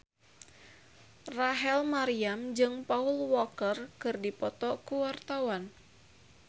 Rachel Maryam jeung Paul Walker keur dipoto ku wartawan